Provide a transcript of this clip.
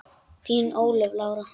Þín Ólöf Lára.